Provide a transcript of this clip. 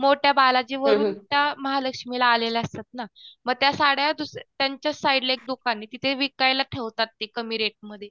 मोठ्या बालाजीवरून त्या महालक्ष्मीला आलेल्या असतात ना, म त्या साड्या त्यांच्या साईडला एक दुकान ये तिथे विकायला ठेवतात ते कमी रेटमध्ये